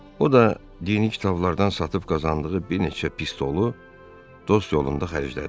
O da dini kitablardan satıb qazandığı bir neçə pistolu dost yolunda xərclədi.